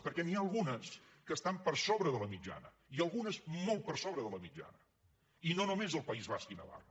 perquè n’hi ha algunes que estan per sobre de la mitjana i algunes molt per sobre de la mitjana i no només el país basc i navarra